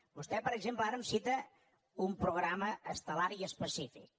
vostè per exemple ara em cita un programa estel·lar i específic